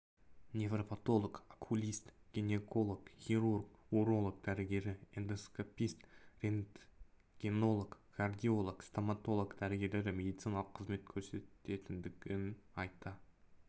неврапотолог окулист гинеколог хирург уролог дәрігері эндоскопист рентгенолог кардиолог стоматолог дәрігерлері медициналық қызмет көрсететіндігін айта